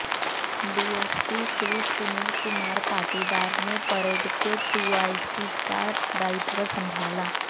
DSP Shri Sunil Kumar Patidar ने parade के two I C का दायित्व संभाला